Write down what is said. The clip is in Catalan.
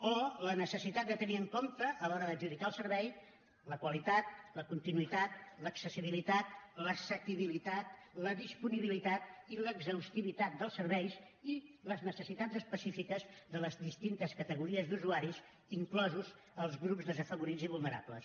o la necessitat de tenir en compte a l’hora d’adjudicar el servei la qualitat la continuïtat l’accessibilitat l’assequibilitat la disponibilitat i l’exhaustivitat dels serveis i les necessitats específiques de les distintes categories d’usuaris inclosos els grups desafavorits i vulnerables